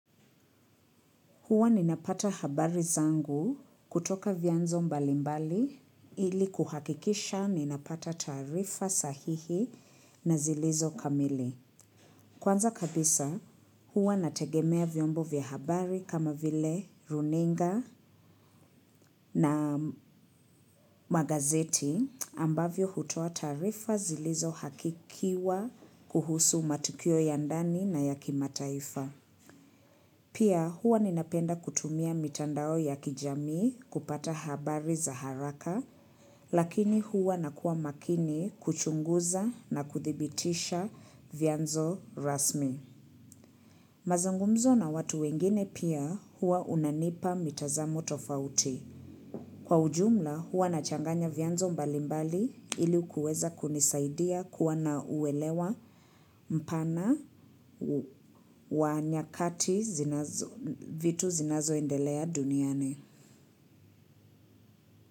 Huwa ninapata habari zangu kutoka vianzo mbalimbali ili kuhakikisha ninapata taarifa sahihi na zilizo kamili. Kwanza kabisa huwa nategemea vyombo vya habari kama vile runinga na magazeti ambavyo hutoa taarifa zilizo hakikiwa kuhusu matukio ya ndani na ya kimataifa. Pia huwa ninapenda kutumia mitandao ya kijamii kupata habari za haraka, lakini huwa nakua makini kuchunguza na kuthibitisha vianzo rasmi. Mazungumzo na watu wengine pia huwa unanipa mitazamo tofauti. Kwa ujumla huwa nachanganya vyanzo mbalimbali ili kuweza kunisaidia kuwa nauelewa mpana wa nyakati vitu zinazoendelea duniani.